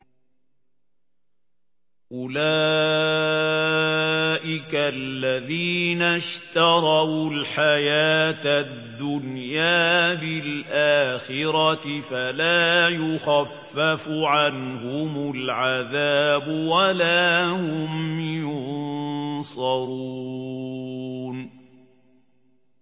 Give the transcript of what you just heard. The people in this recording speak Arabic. أُولَٰئِكَ الَّذِينَ اشْتَرَوُا الْحَيَاةَ الدُّنْيَا بِالْآخِرَةِ ۖ فَلَا يُخَفَّفُ عَنْهُمُ الْعَذَابُ وَلَا هُمْ يُنصَرُونَ